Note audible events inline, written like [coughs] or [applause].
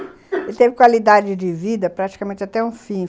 [coughs] Ele teve qualidade de vida praticamente até o fim.